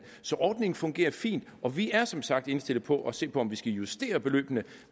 så ordningen fungerer fint og vi er som sagt indstillet på at se på om vi skal justere beløbene